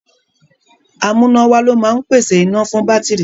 Amúnáwá ló máa ń pèsè iná fún bátìrì.